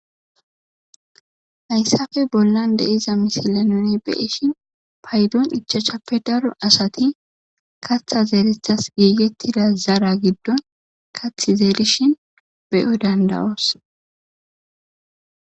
Hayssafe bollan deiza misilenone be ishin paydoon ichachappe daro asati katha zeelethas geigettida zara giddon kathi zeelishin beyo dandawoos